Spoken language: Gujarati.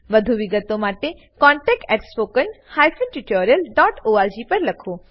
વધુ વિગતો માટે કૃપા કરી contactspoken tutorialorg પર લખો